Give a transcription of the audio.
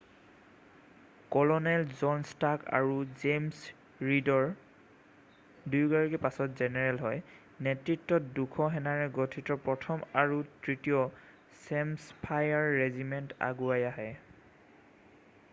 Colonel John Stark আৰু James ৰীডৰ দুয়োগৰাকী পাছত জেনেৰেল হয় নেতৃত্বত 200 সেনাৰে গঠিত 1ম আৰু 3য় হেমছফায়াৰ ৰেজিমেণ্ট আগুৱাই আহে।